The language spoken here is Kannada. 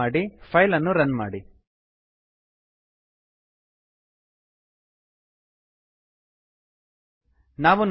ಸೇವ್ ಮಾಡಿ ಫೈಲನ್ನು ರನ್ ಮಾಡಿ ನಾವು ನೋಡುವಂತೆ